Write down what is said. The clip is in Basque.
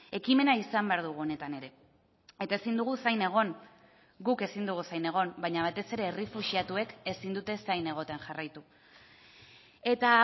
ekimena izan behar dugu honetan ere eta ezin dugu zain egon guk ezin dugu zain egon baina batez ere errefuxiatuek ezin dute zain egoten jarraitu eta